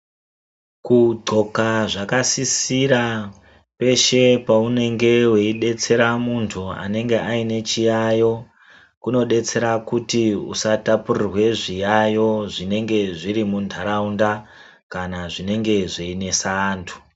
Kudxoka zvakasisira peshe paunenge weidetsera muntu anenge ane chiyayo kunodetsera kuti usatapurirwe zviyayo zvinenge zviri muntaraunda, kana zvinenge zveinesa antu.